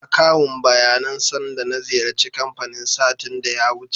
Akawun baya nan sanda na ziyarci kanfanin satin da ya wuce.